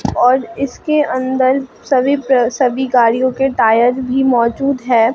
और इसके अंदर सभी पे सभी गाड़ियों के टायर भी मौजूद है।